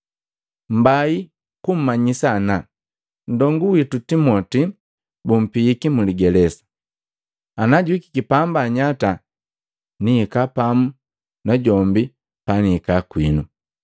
Mbai kummanyisa ana nndongu winu Timoti bumpiiki mu ligelesa. Ana juhikiki pamba nnyata, nihika pamu na jombi pa nihika kwiinu.